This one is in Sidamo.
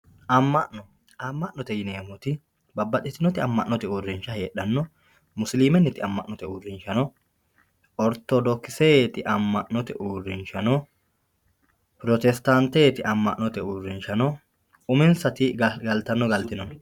amma'no amma'note yineemmoti babbaxitinoti amma'note uurrinsha heedhanno musilimenniti ammannote uurrinsha ortodokiseeti amma'note uurrinsha no pirotestaanteeti amma'note uurrinsha no uminsati galtanno wodhono no.